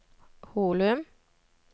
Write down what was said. Holum